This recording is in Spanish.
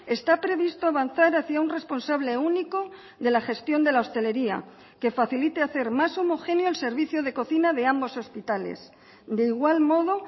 está previsto avanzar hacia un responsable único de la gestión de la hostelería que facilite hacer más homogéneo el servicio de cocina de ambos hospitales de igual modo